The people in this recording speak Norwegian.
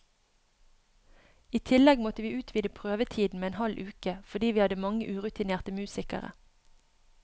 I tillegg måtte vi utvide prøvetiden med en halv uke, fordi vi hadde mange urutinerte musikere.